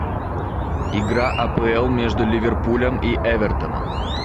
игра апл между ливерпулем и эвертоном